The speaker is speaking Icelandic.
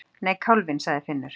Nei, kálfinn, sagði Finnur.